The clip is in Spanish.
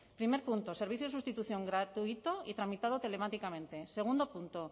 primer punto servicio de sustitución gratuito y tramitado telemáticamente segundo punto